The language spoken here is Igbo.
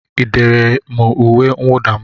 Ị dere m uwe mwuda m?